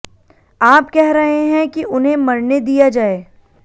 आप कह रहे हैं कि उन्हें मरने दिया जाए